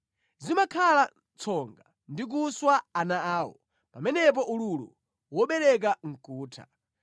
Zimakhala tsonga ndi kuswa ana awo; pamenepo ululu wobereka nʼkutha.